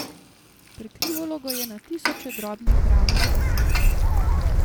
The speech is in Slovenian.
Prekrivalo ga je na tisoče drobnih, ravnih faset.